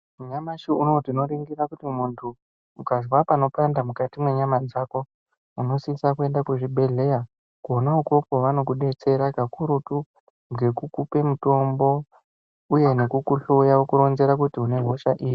Nyamashi uno tinoningira kuti munhu ukazwe pano panda mukati mwenyama dzako unosisa kuenda kuzvibhehleya kona ukoko vanokudetsera kakurutu ngekukupe mutombo uye nekukuhloya nekukuronzera kuti une hosha iri.